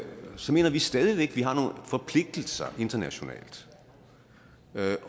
så mener vi stadig væk at man har nogle forpligtelser internationalt